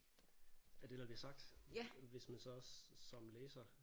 Af det der bliver sagt hvis man så også som læser